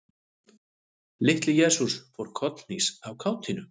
Litli-Jesús fór kollhnís af kátínu.